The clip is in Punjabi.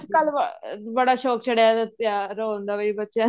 ਕੱਲ ਅਹ ਬੜਾ ਸ਼ੋਂਕ ਚੜਿਆਂ ਹੋਣ ਦਾ ਵੀ ਬੱਚਿਆਂ